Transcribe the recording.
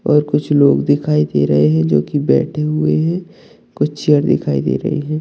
और कुछ लोग दिखाई दे रहे है जो की बैठे हुए है कुछ चेयर दिखाई दे रहे है।